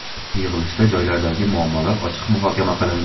Yig‘ilishda joylardagi muammolar ochiq muhokama qilindi.